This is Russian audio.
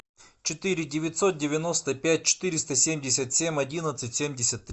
четыре девятьсот девяносто пять четыреста семьдесят семь одиннадцать семьдесят три